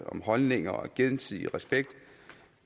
om holdninger og gensidig respekt